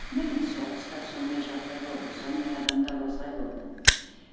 міне соғыста сондай жағдай болды сондай адамдар осылай болды